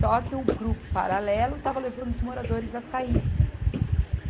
Só que o grupo paralelo estava levando os moradores a sair.